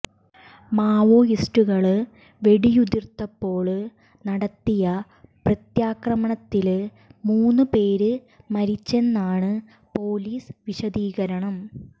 മാവോയിസ്റ്റുകള് വെടിയുതിര്ത്തപ്പോള് നടത്തിയ പ്രത്യാക്രമണത്തില് മൂന്നു പേര് മരിച്ചെന്നാണ് പൊലീസ് വിശദീകരണം